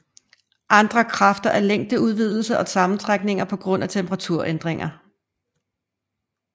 Andre kræfter er længdeudvidelser og sammentrækninger på grund af temperaturændringer